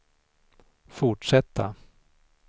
fortsätta